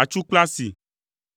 atsu kple asi,